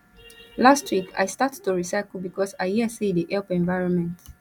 last week i start to recycle because i hear sey e dey help environment